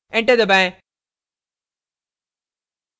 enter दबाएं